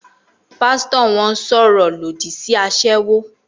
Pásítọ̀ wọn sọ̀rọ̀ lòdì sí aṣẹ́wó